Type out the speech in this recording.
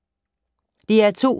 DR2